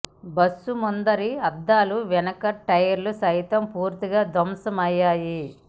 bus ముందరి అద్దాలు వెనక టైర్లు సైతం పూర్తిగా ధ్వంసమయ్యాయి